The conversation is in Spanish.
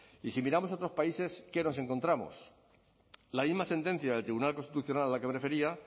y si miramos otros países qué nos encontramos la misma sentencia del tribunal constitucional a la que me refería